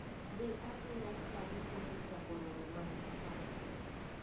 Dhi adhiya chadi osechako romo margi sani.